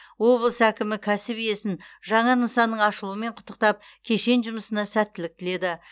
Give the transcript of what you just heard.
облыс әкімі кәсіп иесін жаңа нысанның ашылуымен құттықтап кешен жұмысына сәттілік тіледі